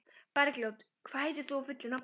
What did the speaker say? Bergljót, hvað heitir þú fullu nafni?